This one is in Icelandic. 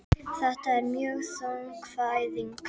Þetta er mjög þung fæðing